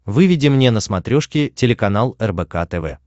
выведи мне на смотрешке телеканал рбк тв